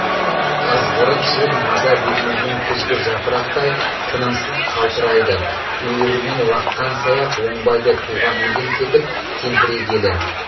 ызғырық жел маза бермеген күзгі жапырақтай тынымсыз қалтырайды үйірінен лаққан саяқ оңбайды туған елден кетіп тентірегелі